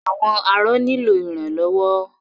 Àwọn arọ nílò ìrànlọ́wọ́.